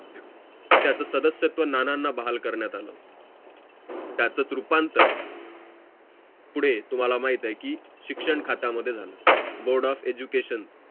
त्यात सद्सत्व नानांना बहाल करण्यात आलं होत त्याचाच रूपांतर पुढे तुम्हाला माहित आहे की शिक्षण खात्या मध्ये झालं board of education